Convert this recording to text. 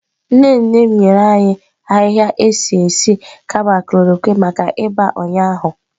Nne nne m nyere anyị ahịhịa esi nri kama Nne nne m nyere anyị ahịhịa esi esi kama chloroquine maka ịba ụnyaahụ. maka ịba ụnyaahụ.